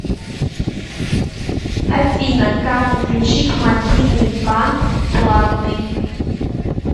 афина как отключить мобильный банк платный